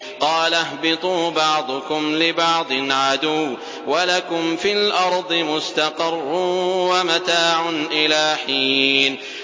قَالَ اهْبِطُوا بَعْضُكُمْ لِبَعْضٍ عَدُوٌّ ۖ وَلَكُمْ فِي الْأَرْضِ مُسْتَقَرٌّ وَمَتَاعٌ إِلَىٰ حِينٍ